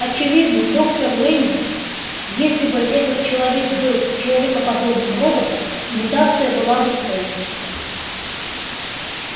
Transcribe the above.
очевидно доктор лэннинг если бы этот человек был человекоподобным роботом имитация была бы полной